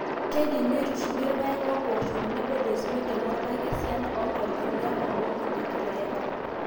keidimi neitushuli irpaek imoosho tenebo desmodium orpaek esiana e inkalifuni artam oong'uan te kila e ha.